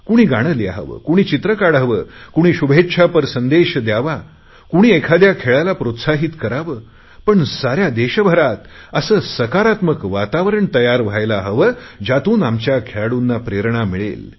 कुणी गाणे लिहावे कुणी चित्र काढावे कुणी शुभेच्छापर संदेश द्यावा कुणी एखाद्या खेळाला प्रोत्साहित करावे पण साऱ्या देशभरात असे सकारात्मक वातावरण तयार व्हायला हवे ज्यातून आमच्या खेळाडूंना प्रेरणा मिळेल